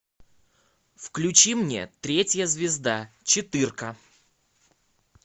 включи мне третья звезда четыре ка